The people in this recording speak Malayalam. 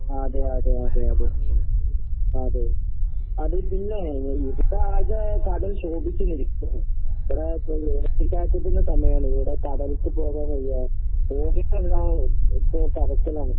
അതെയതെയതെയതെ. അതെ. അതിണ്ട്ല്ലേ. ഓ ഇതിപ്പാകെ കടൽ ക്ഷോഭിച്ച് നിൽക്കാ. ഇവടെ ഇപ്പൊ സമയാണ് ഇവടെ കടൽക്ക് പോകാൻ വയ്യ.